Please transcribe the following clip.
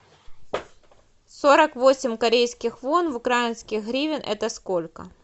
сорок восемь корейских вон в украинских гривен это сколько